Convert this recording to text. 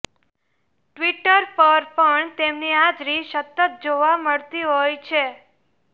Twitter પર પણ તેમની હાજરી સતત જોવા મળતી હોય છે